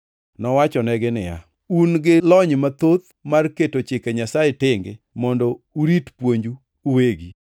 Nowachonegi niya, “Un gi lony mathoth mar keto Chike Nyasaye tenge mondo urit puonju uwegi!